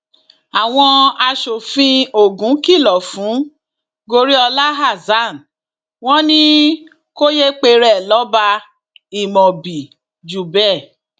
àwọn aṣòfin ogun kìlọ fún goriola hasan wọn ni kò yéé pera ẹ lọba imobiijubẹ